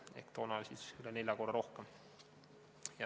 Ehk toona oli seda üle nelja korra rohkem.